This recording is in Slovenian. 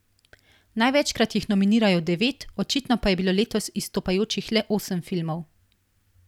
Največkrat jih nominirajo devet, očitno pa je bilo letos izstopajočih le osem filmov.